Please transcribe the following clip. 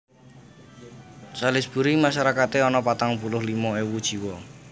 Salisbury masarakaté ana patang puluh limo ewu jiwa